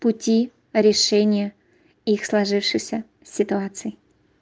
пути решение их сложившейся ситуаций